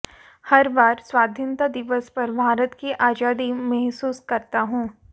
हर बार स्वाधीनता दिवस पर भारत की आजादी महसूस करता हूं